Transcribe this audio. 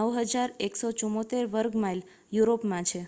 9,174 વર્ગ માઇલ યુરોપમાં છે